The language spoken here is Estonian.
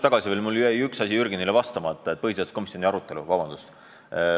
" Aga mul jäi üks asi Jürgenile vastamata, vabandust!